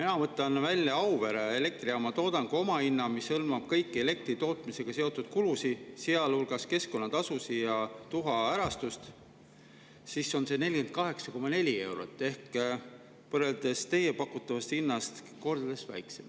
Ma võtan välja Auvere elektrijaama toodangu omahinna, mis hõlmab kõiki elektri tootmisega seotud kulusid, sealhulgas keskkonnatasusid ja tuhaärastust, ja see on 48,4 eurot ehk teie pakutavast hinnast kordades väiksem.